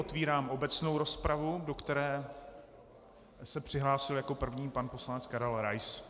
Otevírám obecnou rozpravu, do které se přihlásil jako první pan poslanec Karel Rais.